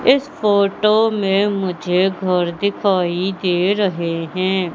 इस फोटो में मुझे घर दिखाई दे रहे हैं।